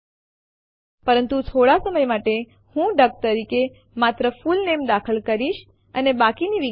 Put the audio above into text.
આપણે ધારીશું કે આપણી પાસે હોમ ડિરેક્ટરીમાં ત્રણ ફાઈલો છે જેના નામ છે ટેસ્ટ1 ટેસ્ટ2 ટેસ્ટ3